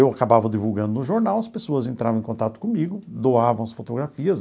Eu acabava divulgando no jornal, as pessoas entravam em contato comigo, doavam as fotografias.